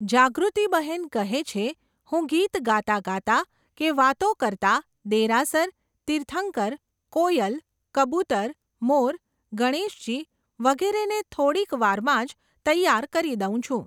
જાગૃતિબહેન કહે છે, હું ગીત ગાતાં ગાતાં કે વાતો કરતાં દેરાસર, તીર્થંકર, કોયલ, કબૂતર, મોર, ગણેશજી વગેરેને થોડીક વારમાં જ તૈયાર કરી દઉં છું.